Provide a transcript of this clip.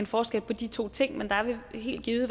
forskel på de to ting men der vil helt givet